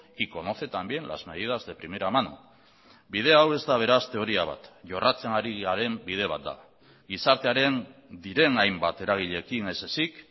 y conoce también las medidas de primera mano bide hau ez da beraz teoria bat jorratzen ari garen bide bat da gizartearen diren hainbat eragileekin ez ezik